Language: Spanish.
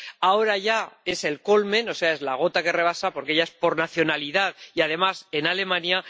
Ahora ya es el culmen, o sea, la gota que rebasa, porque ya es por nacionalidad y, además, en Alemania.